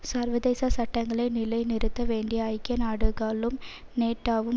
சர்வதேச சட்டங்களை நிலைநிறுத்த வேண்டிய ஐக்கிய நாடுகளும் நேட்டோவும்